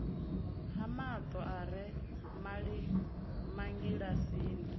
ha mato a re mangilasini